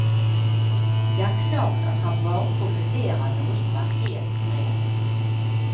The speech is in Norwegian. Det er klart at han bare formulerer noe som er helt reelt.